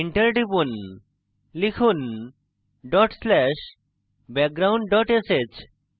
enter টিপুন লিখুন dot slash background dot sh